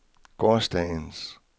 gårsdagens